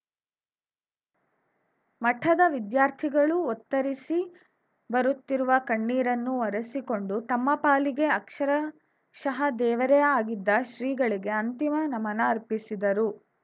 ಮಠದ ವಿದ್ಯಾರ್ಥಿಗಳೂ ಒತ್ತರಿಸಿ ಬರುತ್ತಿರುವ ಕಣ್ಣೀರನ್ನು ಒರೆಸಿಕೊಂಡು ತಮ್ಮ ಪಾಲಿಗೆ ಅಕ್ಷರಶಃ ದೇವರೇ ಆಗಿದ್ದ ಶ್ರೀಗಳಿಗೆ ಅಂತಿಮ ನಮನ ಅರ್ಪಿಸಿದರು